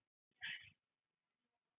Vilja afsögn forsætisráðherra Japans